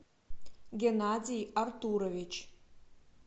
геннадий артурович